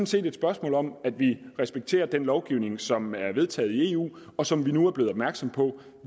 set et spørgsmål om at vi respekterer den lovgivning som er vedtaget i eu og som vi nu er blevet opmærksomme på at